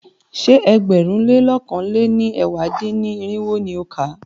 Ṣé ẹgbẹ̀rún lé lọ̀kan lé ní ẹ̀wá dín-ní-irinwó ni o kà?